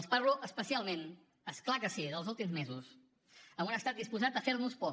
els parlo especialment és clar que sí dels últims mesos amb un estat disposat a fer nos por